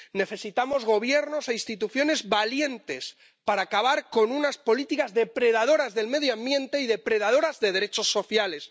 Necesitamos gobiernos e instituciones valientes para acabar con unas políticas depredadoras del medio ambiente y depredadoras de derechos sociales.